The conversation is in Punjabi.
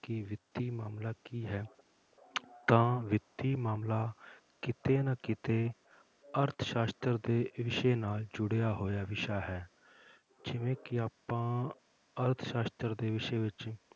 ਕਿ ਵਿੱਤੀ ਮਾਮਲਾ ਕੀ ਹੈ ਤਾਂ ਵਿੱਤੀ ਮਾਮਲਾ ਕਿਤੇ ਨਾ ਕਿਤੇ ਅਰਥਸਾਸ਼ਤਰ ਦੇ ਵਿਸ਼ੇ ਨਾਲ ਜੁੜਿਆ ਹੋਇਆ ਵਿਸ਼ਾ ਹੈ, ਜਿਵੇਂ ਕਿ ਆਪਾਂ ਅਰਥ ਸਾਸ਼ਤਰ ਦੇ ਵਿਸ਼ੇ ਵਿੱਚ,